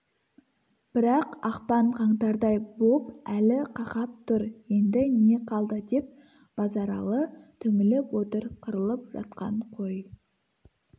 бірақ ақпан-қаңтардай боп әлі қақап тұр енді не қалды деп базаралы түңіліп отыр қырылып жатқан қой